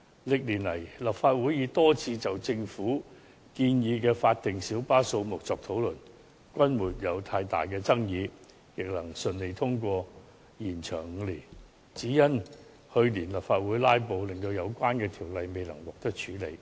歷年來，立法會已多次就政府建議的法定小巴數目作討論，均沒有太大爭議，亦順利通過延長5年的議案，只是由於去年立法會"拉布"，使相關議案未能獲得處理。